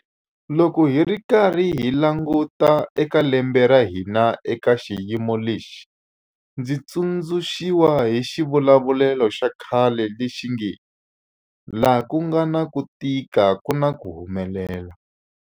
Loko hi karhi hi languta eka lembe ra hina eka xiyimo lexi, ndzi tsundzu xiwa hi xivulavulelo xa khale lexi nge 'laha ku nga na ku tika ku na ku humelela'.